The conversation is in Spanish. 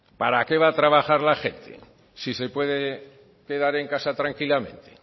para qué va a trabajar la gente si se puede quedar en casa tranquilamente